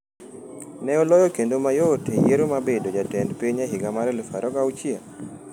Ne oloyo kendo mayot e yiero mar bedo jatend piny e higa mar 2006.